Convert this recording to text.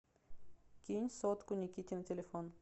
кинь сотку никите на телефон